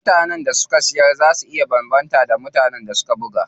Mutanen da suke siyarwa zaa su iya zama daban da wanda suka buga.